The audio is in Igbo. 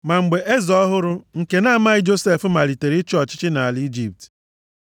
Ma mgbe eze ọhụrụ nke na-amaghị Josef malitere ịchị ọchịchị nʼala Ijipt,